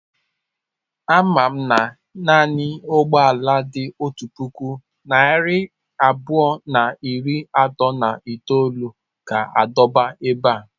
Amam na naanị ụgbọ ala dị otu puku narị abụọ na iri atọ na itolu ga-adọba ebe a.